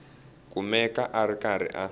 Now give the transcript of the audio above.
kumeka a ri karhi a